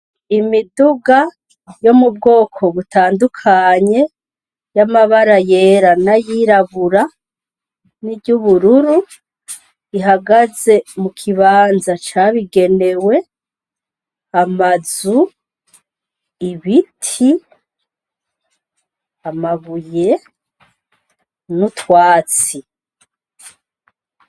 Imiduga yo mu bwoko butandukanye y'amabara yera n'ayirabura n'iry'ubururu ihagaze mu kibanza cabigenewe, amazu, ibiti, amabuye n'utwatsi.